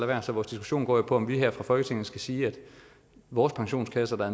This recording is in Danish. være så vores diskussion går jo på om vi her fra folketingets side skal sige at vores pensionskasser der